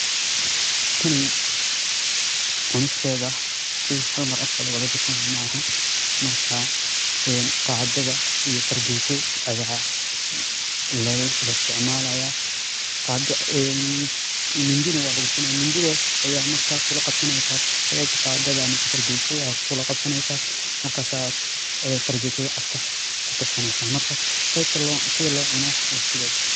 Tani cunisteedha shey hal mara afka kawadhagashanaya maahan marka qaadadha iyo fargeeto ayaa laisiticamalaya mindi neh waa lagusinayaa mindidhas ayaa marka kulaqabsaneysa qadadha ama fargeetadha kulaqabsaneysa markas aa fargeetadha afka kugashaneysa marka sidha loocuno waa sidhas.